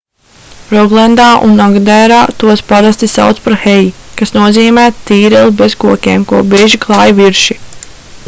roglendā un agderā tos parasti sauc par hei kas nozīmē tīreli bez kokiem ko bieži klāj virši